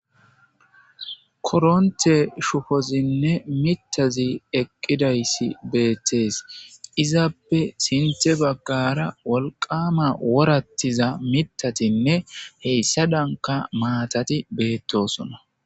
koronte shufozinne mitazi eqqidayssi beettees izaappe sinthe baggara wolqama worattiza mitatinne heyssa danka maatati beettosona